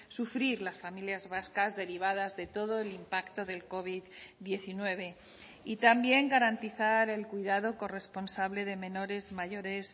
sufrir las familias vascas derivadas de todo el impacto del covid diecinueve y también garantizar el cuidado corresponsable de menores mayores